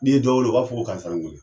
N'i ye dɔ wele u b'a fɔ ko karisani wele.